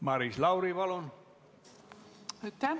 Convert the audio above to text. Maris Lauri, palun!